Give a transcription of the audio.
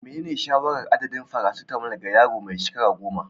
Menene shawarar adadin "paracetamol" ga yaro mai shekaru 10?